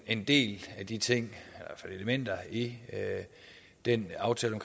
en del af de ting eller elementer i den aftale